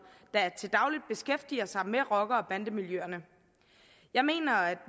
der til daglig beskæftiger sig med rocker og bandemiljøerne jeg mener at